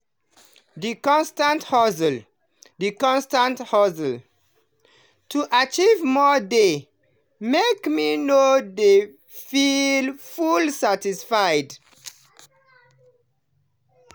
the constant hustle the constant hustle to achieve more dey make me no dey feel fully satisfied.